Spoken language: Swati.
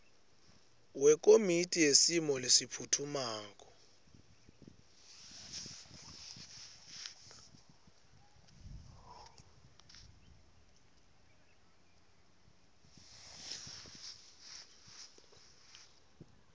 wekomiti yesimo lesiphutfumako